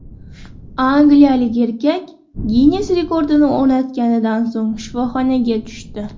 Angliyalik erkak Ginnes rekordini o‘rnatganidan so‘ng shifoxonaga tushdi.